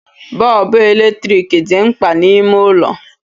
Bọọbụ eletrik dị mkpa n'ime ụlọ